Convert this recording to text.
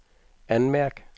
anmærk